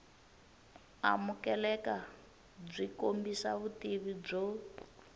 amukeleka byi kombisa vutivi byo